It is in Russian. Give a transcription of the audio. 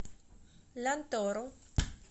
лянтору